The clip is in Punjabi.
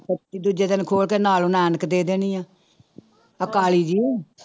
ਪੱਟੀ ਦੂਜੇ ਦਿਨ ਖੋਲ ਕੇ ਨਾਲੇ ਉਹਨਾਂ ਐਨਕ ਦੇ ਦੇਣੀ ਆਂ ਆਹ ਕਾਲੀ ਜਿਹੀ।